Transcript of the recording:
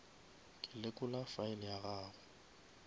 ke lekola file ya gago